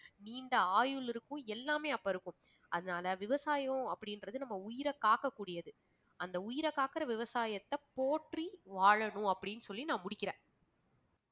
நீண்ட ஆயுள் இருக்கும் எல்லாமே அப்ப இருக்கும் அதனால விவசாயம் அப்படின்றது நம்ம உயிரை காக்கக் கூடியது. அந்த உயிரை காக்கிற விவசாயத்தை போற்றி வாழணும் அப்படின்னு சொல்லி நான் முடிக்கிறேன்.